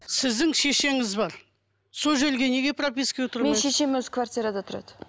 сіздің шешеңіз бар сол жерге неге пропискаға менің шешем өзі квартирада тұрады